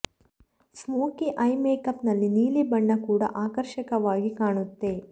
smoky eye makeup ನಲ್ಲಿ ನೀಲಿ ಬಣ್ಣ ಕೂಡ ಆಕರ್ಷಕವಾಗಿ ಕಾಣುತ್ತೆ